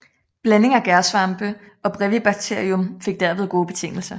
Blanding af gærsvampe og Brevibacterium fik derved gode betingelser